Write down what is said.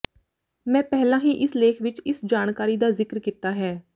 ਮੈਂ ਪਹਿਲਾਂ ਹੀ ਇਸ ਲੇਖ ਵਿਚ ਇਸ ਜਾਣਕਾਰੀ ਦਾ ਜ਼ਿਕਰ ਕੀਤਾ ਹੈ